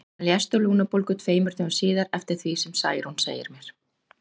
Hann lést úr lungnabólgu tveimur dögum síðar, eftir því sem Særún segir mér.